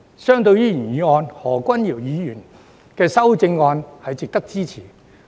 相對於原議案，何君堯議員的修正案是值得支持的。